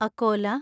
Akola